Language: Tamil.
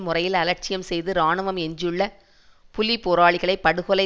முறையில் அலட்சியம் செய்து இராணுவம் எஞ்சியுள்ள புலி போராளிகளை படுகொல